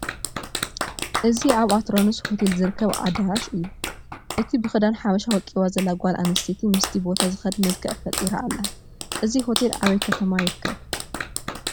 እዚ ኣብ ኣትራኖስ ሆቴል ዝርከብ ኣዳራሽ እዩ፡፡ እቲ ብክዳን ሓበሻ ወቂባ ዘላ ጓል ኣነስተይቲ ምስቲ ቦታ ዝኸድ መልክዕ ፈጢራ ኣላ፡፡ እዚ ሆቴል ኣበይ ከተማ ይርከብ?